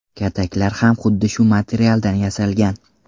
Kataklar ham xuddi shu materialdan yasalgan.